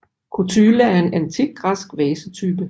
Kotyle er en antik græsk vasetype